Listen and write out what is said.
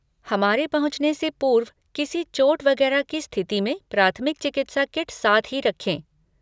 हमारे पहुँचने से पूर्व किसी चोट वगैरह की स्थिति में प्राथमिक चिकित्सा किट साथ ही रखें।